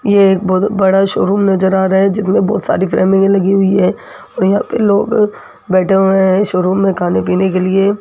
ये एक बहोत बड़ा शोरूम नजर आ रहा है जिसमे बहुत सारी फ्रेमिंग लगी हुई है और यहाँ पे लोग बैठे हुए हैं शोरूम में खाने पीने के लिए--